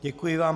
Děkuji vám.